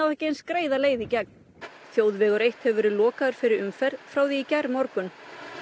ekki eins greiða leið í gegn þjóðvegur eitt hefur verið lokaður fyrir umferð frá því í gærmorgun